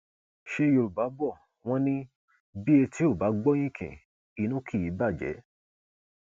ṣe yorùbá bò wọn ni bí etí ò bá gbọ yinkin inú kì í bàjẹ